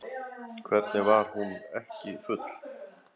Hvernig var hún ekki full?